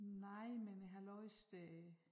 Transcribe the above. Nej men jeg har læst øh